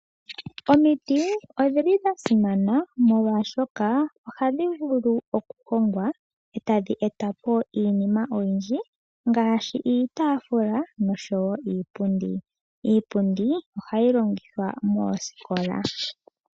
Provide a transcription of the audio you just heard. Omiti odhi li dha simana molwashoka ohadhi vulu okuhongwa, e tadhi eta po iinima oyindji ngaashi iitafula noshowo iipundi. Iipundi ohayi longithwa moosikola.